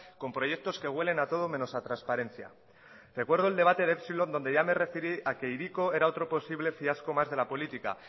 con proyectos que huelen a todo menos a transparencia recuerdo de epsilon donde ya me referí a que hiriko era otro posible fiasco más de la política